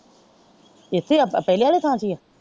ਇਥੇ ਆ ਪਹਿਲੇ ਆਲੇ ਥਾਂ ਤੇ ਹੀ ਆ।